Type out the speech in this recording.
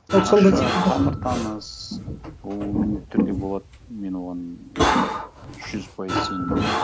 тамыр таныс ол міндетті түрде болады мен оған жүз пайыз сенімдімін